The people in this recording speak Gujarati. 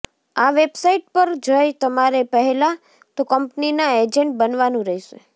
આ વેબસાઇટ પર જઇ તમારે પહેલા તો કંપનીના એજન્ટ બનાવાનું રહેશે